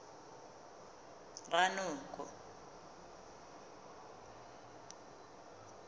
ranoko